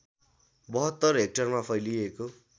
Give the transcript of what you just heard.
७२ हेक्टरमा फैलिएको